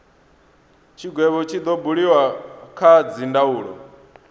tshigwevho tshi do buliwa kha dzindaulo